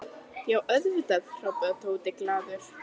Já, auðvitað hrópaði Tóti glaður.